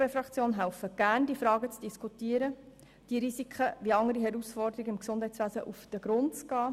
Wir als EVP helfen gerne, diese Fragen zu diskutieren und diesen Risiken – wie anderen Herausforderungen im Gesundheitswesen – auf den Grund zu gehen.